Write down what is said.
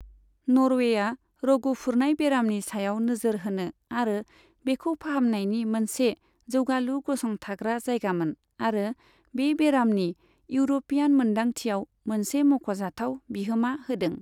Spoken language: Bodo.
नर्वेआ रग' फुरनाय बेरामनि सायाव नोजोर होनो आरो बेखौ फाहामनायनि मोनसे जौगालु गसंथाग्रा जायगामोन आरो बे बेरामनि इउर'पीयान मोन्दांथियाव मोनसे मख'जाथाव बिहोमा होदों।